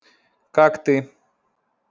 как ты